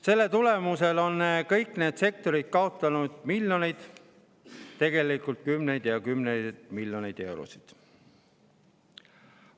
Selle tulemusel on kõik need sektorid kaotanud miljoneid, tegelikult kümneid ja kümneid miljoneid eurosid.